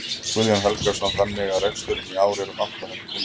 Guðjón Helgason: Þannig að reksturinn í ár er um átta hundruð milljónir?